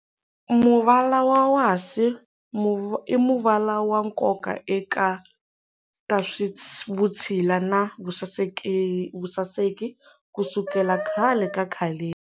Muvala wa wasi i muvala wa nkoka eka ta swa vutshila na vusaseki kusukela khale ka khaleni.